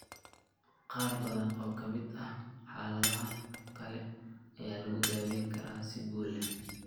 Qaar badan oo ka mid ah xaaladahan kale ayaa lagu daweyn karaa si guul leh.